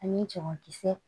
Ani cɛman kisɛ